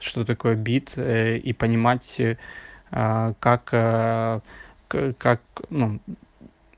что такое бит и понимать а как как ну